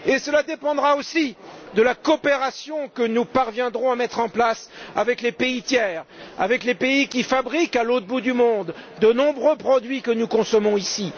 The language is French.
Et cela dépendra aussi de la coopération que nous parviendrons à mettre en place avec les pays tiers, avec les pays qui fabriquent à l'autre bout du monde de nombreux produits que nous consommons ici.